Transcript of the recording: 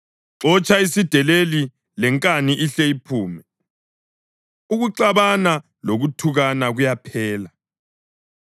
Xotsha isideleli, lenkani ihle iphume; ukuxabana lokuthukana kuyaphela.